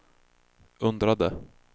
undrade